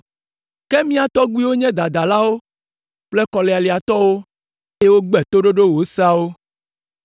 Ke mía tɔgbuiwo nye dadalawo kple kɔlialiatɔwo, eye wogbe toɖoɖo wò Seawo.